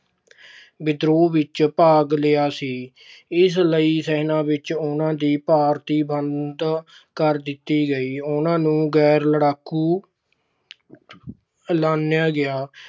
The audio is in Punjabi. ਵਿਦਰੋਹ ਵਿੱਚ ਭਾਗ ਲਿਆ ਸੀ। ਇਸ ਲਈ ਸੈਨਾ ਵਿੱਚ ਉਹਨਾਂ ਦੀ ਭਰਤੀ ਬੰਦ ਕਰ ਦਿੱਤੀ ਗਈ। ਉਹਨਾਂ ਨੂੰ ਗੈਰ-ਲੜਾਕੂ ਐਲਾਨਿਆ ਗਿਆ।